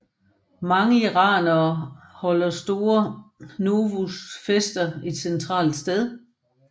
Mange iranere holder store Nowruz fester et centralt sted